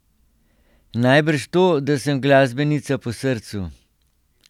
Najbrž to, da sem glasbenica po srcu.